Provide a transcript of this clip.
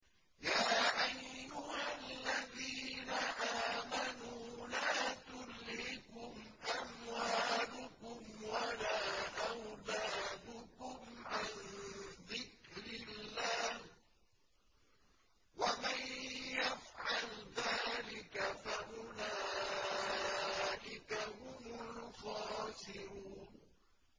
يَا أَيُّهَا الَّذِينَ آمَنُوا لَا تُلْهِكُمْ أَمْوَالُكُمْ وَلَا أَوْلَادُكُمْ عَن ذِكْرِ اللَّهِ ۚ وَمَن يَفْعَلْ ذَٰلِكَ فَأُولَٰئِكَ هُمُ الْخَاسِرُونَ